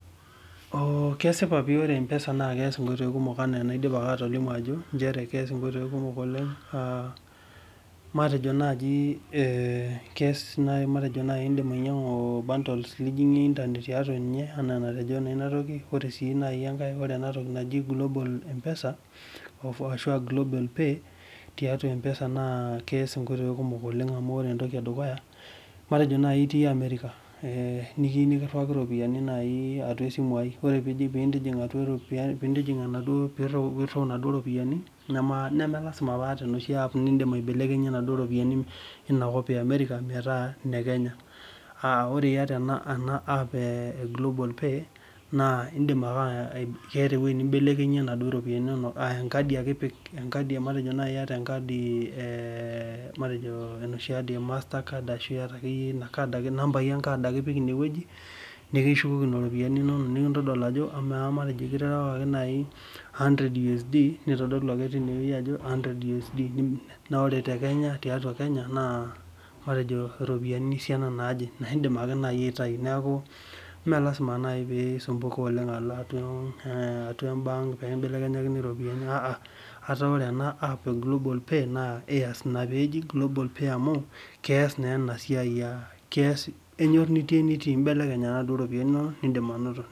Kesipa pii ajo keas mbaa kumok oleng aa matejo nai keas matejo indik ainyangu bundles nijingie internet anaa enajoto inatoki natii enkae ore entoki naji global mpesa ashu global pay tiatua empesa na keas nkoitoi kumok oleng amu matejo ekiyieu nikiriwak ropiyani pirii naduo ropiyiani melasima paata enoshi ap naibelekenyie ropiyani inakop e amerika metaa lekenya na indim ake keeta ewoi nimbelekenyie naduo ropiyiani inonok enkadi ake ipik matejo enoshi kad e mastercard nipik pim nikishukoki naduo ropiyiani inonok matejo nai kiriwakaki a hundred usd na ore tiatua kenya matejo ropiyani esiana naje neaku melasima pilo atua ebank pekimbelekenyaki ropiyani ataa ore ena app naji global pay amu keas naa enasiai kenyor nitii enitii imnelekny ake ropiyiani inonok itii enitii